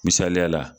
Misaliya la